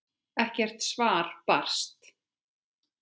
Ekkert svar barst.